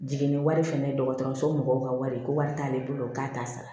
Jiginni wari fɛnɛ ye dɔgɔtɔrɔso mɔgɔw ka wari ye ko wari t'ale bolo k'a t'a sara